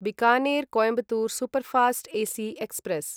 Bikaner Coimbatore superfast AC express